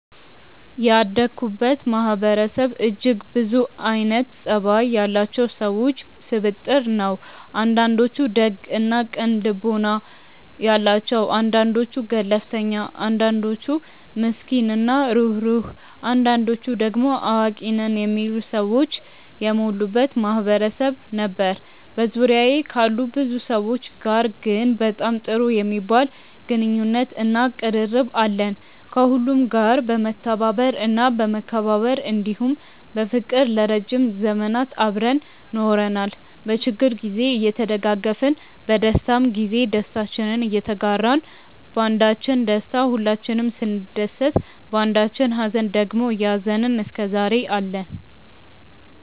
ያደኩበት ማህበረሰብ እጅግ ብዙ አይነት ፀባይ ያላቸው ሰዎች ስብጥር ነው። አንዳንዶቹ ደግ እና ቅን ልቦና ያላቸው አንዳንዶቹ ገለፍተኛ አንዳንዶቹ ምስኪን እና ሩህሩህ አንዳንዶቹ ደሞ አዋቂ ነን የሚሉ ሰዎች የሞሉበት ማህበረሰብ ነበር። በዙሪያዬ ካሉ ብዙ ሰዎች ጋር ግን በጣም ጥሩ የሚባል ግንኙነት እና ቅርርብ አለን። ከሁሉም ጋር በመተባበር እና በመከባበር እንዲሁም በፍቅር ለረዥም ዘመናት አብረን ኖረናል። በችግር ግዜ እየተደጋገፍን በደስታም ግዜ ደስታችንን እየተጋራን ባንዳችን ደስታ ሁላችንም ስንደሰት ባንዳችኝ ሃዘን ደግሞ እያዘንን እስከዛሬ አለን።